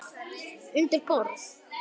Undir borð.